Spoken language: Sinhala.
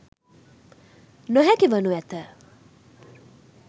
නොහැකි වනු ඇත.